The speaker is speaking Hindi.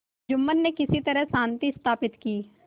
जुम्मन ने किसी तरह शांति स्थापित की